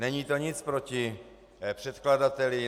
Není to nic proti předkladateli.